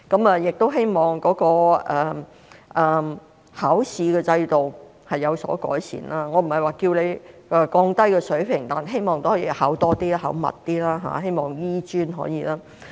我希望考試的制度有所改善，我不是說要降低水平，但希望可以考多些、考密些，希望醫專可以做到。